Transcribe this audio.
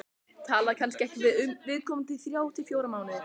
Tala kannski ekki við viðkomandi í þrjá til fjóra mánuði.